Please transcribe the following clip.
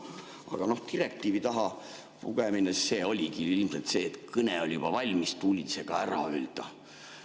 Aga noh, direktiivi taha pugemine, see oligi ilmselt sellest, et kõne oli juba valmis, tuli see ka ära öelda.